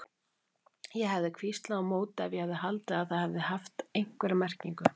Ég hefði hvíslað á móti ef ég hefði haldið að það hefði haft einhverja merkingu.